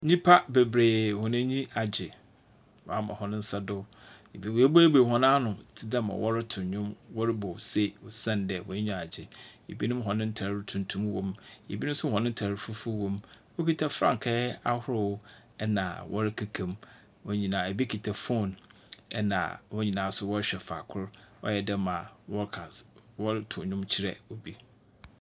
Nyimpa beberee hɔn anyi agye. Wɔama hɔn nsa so. Bi woebueibuei hɔn ano tse dɛ ma wɔretow nnwom wɔrobɔ se osiandɛ hɔn enyiwa agye. Bionm hɔn ntar tuntum wɔ mu. Binom nso hɔn ntar fufuw wɔ mu. Wɔkuta frakaa ahorow, ɛna wɔrekekam. Wɔn nyinaa, ebi kita phone, ɛna hɔn nyinaa nso wɔrehwɛ faako, ayɛ dɛ ma wɔrotow dwom kyerɛ obi.